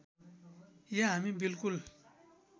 या हामी बिल्कुल